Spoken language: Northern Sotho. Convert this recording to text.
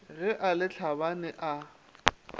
ge a le tlhabane a